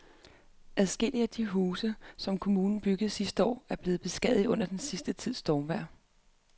Adskillige af de huse, som kommunen byggede sidste år, er blevet beskadiget under den sidste tids stormvejr.